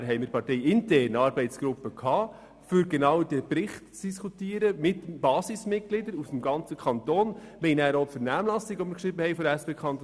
Wir haben parteiintern eine Arbeitsgruppe ins Leben gerufen, um mit der Basis des ganzen Kantons über diesen Bericht zu diskutieren.